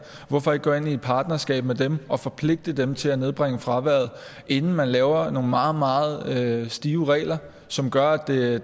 hvorfor ikke gå ind i et partnerskab med dem og forpligte dem til at nedbringe fraværet inden man laver nogle meget meget stive regler som gør at det